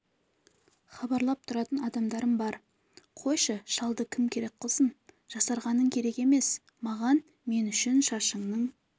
хабарлап тұратын адамдарым бар қойшы шалды кім керек қылсын жасарғаның керек емес маған мен үшін шашыңның